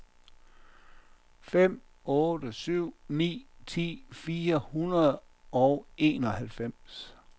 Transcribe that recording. fem otte syv ni ti fire hundrede og enoghalvfems